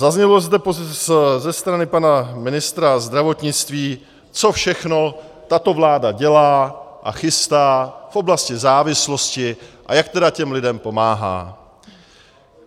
Zaznělo zde ze strany pana ministra zdravotnictví, co všechno tato vláda dělá a chystá v oblasti závislosti a jak tedy těm lidem pomáhá.